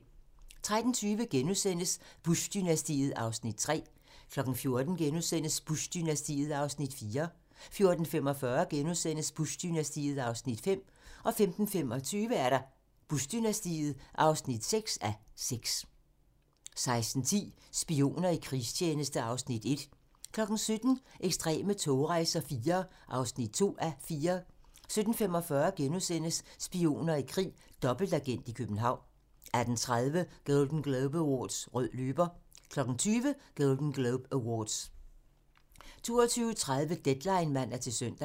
13:20: Bush-dynastiet (3:6)* 14:00: Bush-dynastiet (4:6)* 14:45: Bush-dynastiet (5:6)* 15:25: Bush-dynastiet (6:6) 16:10: Spioner i krigstjeneste (Afs. 1) 17:00: Ekstreme togrejser IV (2:4) 17:45: Spioner i krig: Dobbeltagent i København * 18:30: Golden Globe Awards - Rød løber 20:00: Golden Globe Awards 22:30: Deadline (man-søn)